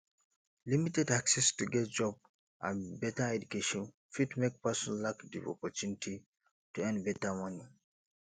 limited access to get job and better education fit make person lack di opportunity to earn better money